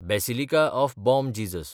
basilica of Bom Jesus